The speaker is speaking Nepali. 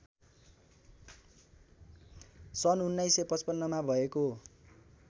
सन् १९५५ मा भएको